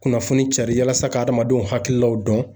Kunnafoni carin walasa adamadenw hakililaw dɔn